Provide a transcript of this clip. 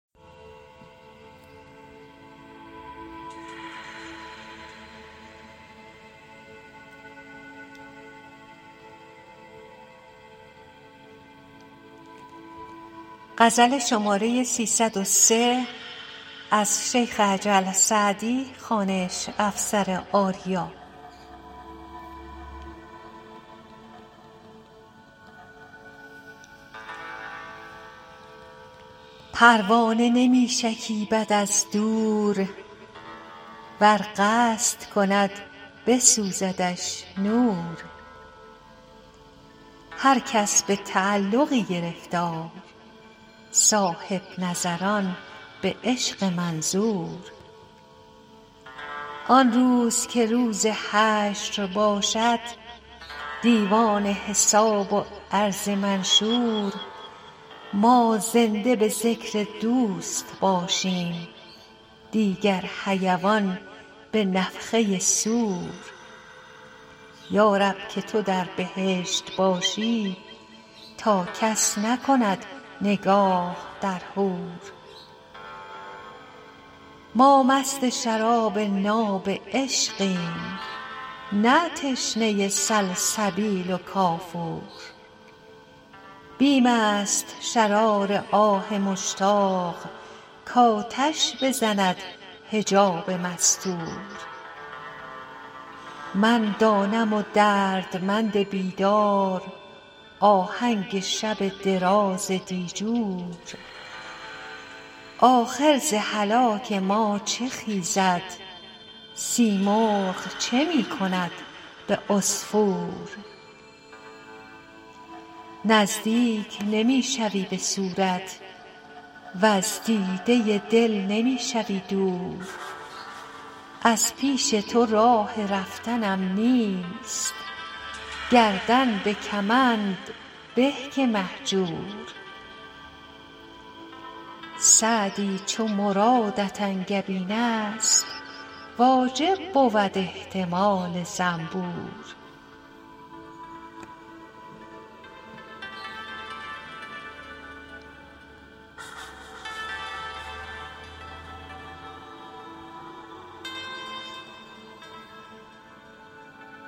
پروانه نمی شکیبد از دور ور قصد کند بسوزدش نور هر کس به تعلقی گرفتار صاحب نظران به عشق منظور آن روز که روز حشر باشد دیوان حساب و عرض منشور ما زنده به ذکر دوست باشیم دیگر حیوان به نفخه صور یا رب که تو در بهشت باشی تا کس نکند نگاه در حور ما مست شراب ناب عشقیم نه تشنه سلسبیل و کافور بیم است شرار آه مشتاق کآتش بزند حجاب مستور من دانم و دردمند بیدار آهنگ شب دراز دیجور آخر ز هلاک ما چه خیزد سیمرغ چه می کند به عصفور نزدیک نمی شوی به صورت وز دیده دل نمی شوی دور از پیش تو راه رفتنم نیست گردن به کمند به که مهجور سعدی چو مرادت انگبین است واجب بود احتمال زنبور